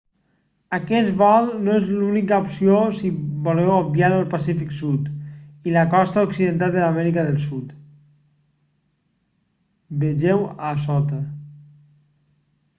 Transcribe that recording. aquest vol no és l'única opció si voleu obviar el pacífic sud i la costa occidental de l'amèrica del sud. vegeu a sota